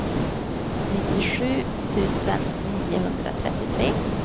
nittiosju tusen niohundratrettiotre